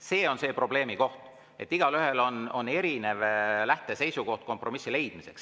See on see probleemikoht, et igaühel on erinev lähteseisukoht kompromissi leidmiseks.